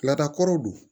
Laadakɔrɔw don